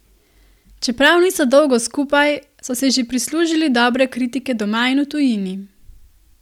Čeprav niso dolgo skupaj, so si že prislužili dobre kritike doma in v tujini.